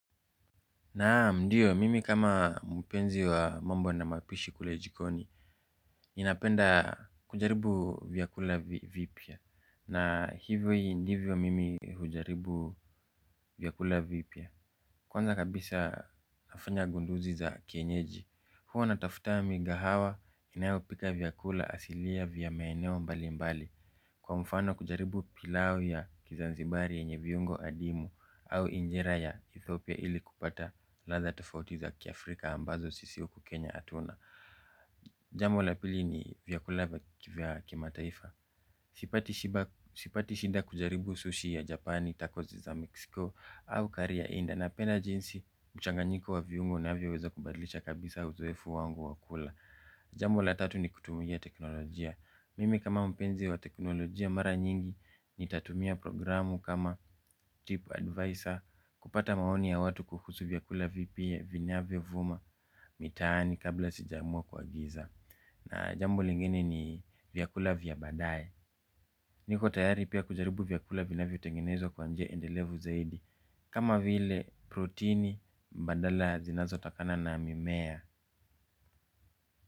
Naam ndiyo mimi kama mpenzi wa mambo na mapishi kule jikoni. Ninapenda kujaribu vyakula vipya. Na hivyo hivyo mimi hujaribu vyakula vipya. Kwanza kabisa nafanya gunduzi za kienyeji. Huwa natafuta migahawa inayopika vyakula asilia vya maeneo mbali mbali. Kwa mfano kujaribu pilau ya kizanzibari yenye viungo adimu. Au injera ya Ethiopia ili kupata latha tafauti za kiafrika ambazo sisi huku Kenya hatuna. Jambo la pili ni vyakula kivya kimataifa. Sipati shida kujaribu sushi ya Japani takozi za Meksiko Au kariya inda napenda jinsi mchanganyiko wa viungo unavyoweza kubadlisha kabisa uzoefu wangu wakula. Jamo la tatu ni kutumia teknolojia. Mimi kama mpenzi wa teknolojia mara nyingi nitatumia programu kama tip advisor. Kupata maoni ya watu kuhusu vyakula vipya vinyavyo vuma mitaani kabla sijaamua kuagiza. Na jambo lingine ni vyakula vya baadaye. Niko tayari pia kujaribu vyakula vinavyotengenezwa kwanje endelevu zaidi. Kama vile proteini mbadala zinazo takana na mimea.